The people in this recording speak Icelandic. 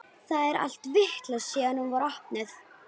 Það er allt vitlaust síðan hún var opnuð.